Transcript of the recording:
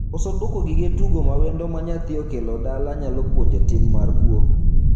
Koso duoko gige tugo ma wendo ma nyathi okelo dala nyalo puonje tim mar kwo.